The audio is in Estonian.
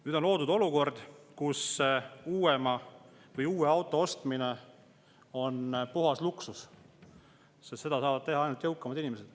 Nüüd on loodud olukord, kus uuema või uue auto ostmine on puhas luksus ja seda saavad teha ainult jõukamad inimesed.